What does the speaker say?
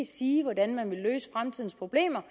sige hvordan man vil løse fremtidens problemer